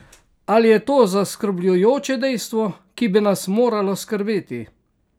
Ali je to zaskrbljujoče dejstvo, ki bi nas moralo skrbeti?